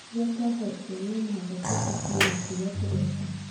Rĩrĩa twahootwo no mũhaka twĩĩtĩkie na kĩria tũreka".